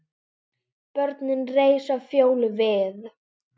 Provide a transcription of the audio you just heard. Börnin reisa Fjólu við.